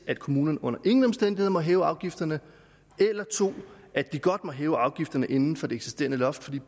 at kommunerne under ingen omstændigheder må hæve afgifterne eller 2 at de godt må hæve afgifterne inden for det eksisterende loft